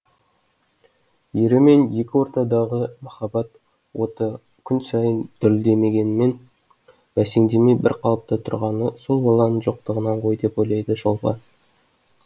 ері мен екі ортадағы махаббат оты күн сайын дүрілдемегенімен бәсеңдемей бір қалыпта тұрғаны сол баланың жоқтығынан ғой деп ойлайды шолпан